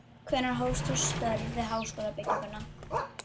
Hvenær hófst þú störf við háskólabygginguna